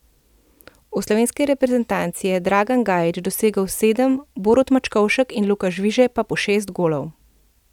V slovenski reprezentanci je Dragan Gajić dosegel sedem, Borut Mačkovšek in Luka Žvižej pa po šest golov.